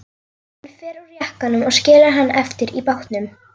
Hann fer úr jakkanum og skilur hann eftir í bátnum.